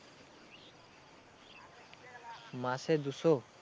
মাসে দুশো?